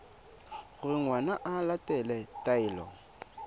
gore ngwana o latela taelo